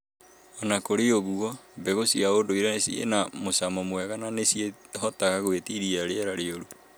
Ona kũri o ũguo, mbegũ cia ũndũiire ciĩna mũcamo mwega na nĩ cihotaga gwĩtiria rĩera rĩũru